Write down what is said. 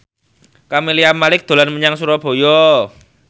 Camelia Malik dolan menyang Surabaya